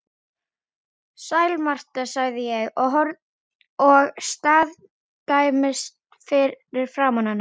Sæl Marta, sagði ég og staðnæmdist fyrir framan hana.